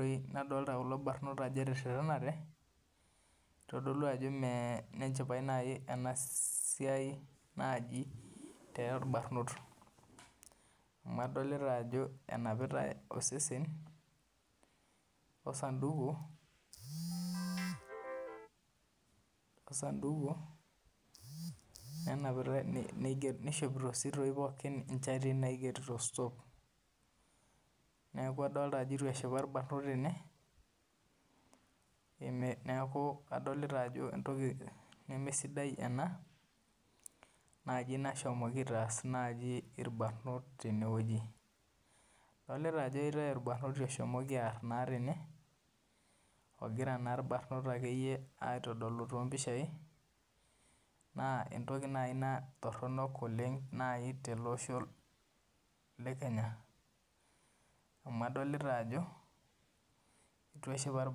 irbanot ootererenate neitodolu mee enenchipai naaji ena siai torbanot amu adolita ajo enapita osesen osanduku nenapitai neishomipto pooki inchatii naigero sitop neeku adolita ajo mee embaye sidai ena nashomoki aitaash kulo barnot adolita ele barnoti oshomoki aar akeyie tene oshomooto irkulie aar naa tene naa entoki naaji ina toronok oleng tele osho le kenya amu adolita ajo eitu eshipa irbanot